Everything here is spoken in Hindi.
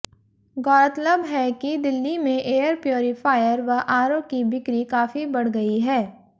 गौरतलब है कि दिल्ली में एयर प्युरिफायर व आरओ की बिक्री काफी बढ़ गई है